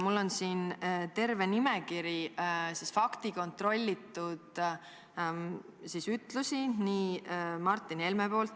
Mul on siin terve nimekiri faktiliselt kontrollitud ütlusi Martin Helme suust.